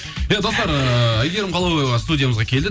иә достар ыыы әйгерім қалаубаева студиямызға келді